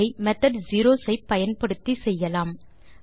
அதை method zeros ஐ பயன்படுத்தி செய்யலாம்